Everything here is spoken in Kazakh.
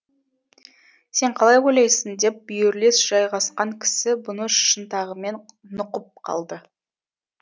сен қалай ойлайсың деп бүйірлес жайғасқан кісі бұны шынтағымен нұқып қалды